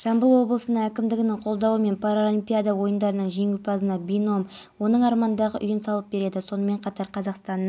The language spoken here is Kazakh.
әуеден бақылау жүргізген тікұшақтың да көмегі тиген жергілікті билік тарапынан үздіксіз су тасымалдаған көліктердің де